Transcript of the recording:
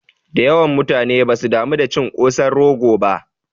Dayawan mutane basu damu da cin kosan rogo ba